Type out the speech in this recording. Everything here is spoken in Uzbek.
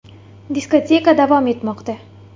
Diskoteka davom etmoqda.